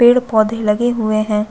पेड़-पौधे लगे हुए है।